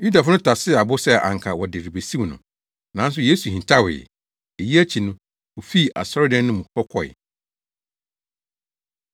Yudafo no tasee abo sɛ anka wɔde rebesiw no, nanso Yesu hintawee. Eyi akyi no, ofii asɔredan no mu hɔ kɔe.